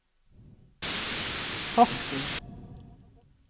Horten